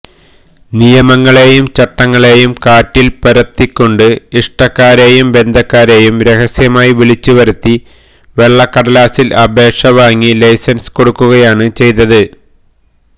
നിയമങ്ങളേയും ചട്ടങ്ങളേയും കാറ്റില് പറത്തിക്കൊണ്ട് ഇഷ്ടക്കാരെയും ബന്ധക്കാരെയും രഹസ്യമായി വിളിച്ചുവരുത്തി വെളളക്കടലാസില് അപേക്ഷ വാങ്ങി ലൈസന്സ് കൊടുക്കുകയാണ് ചെയ്തത്